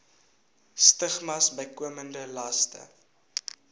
stigmas bykomende laste